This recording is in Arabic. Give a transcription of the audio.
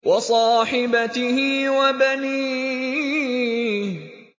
وَصَاحِبَتِهِ وَبَنِيهِ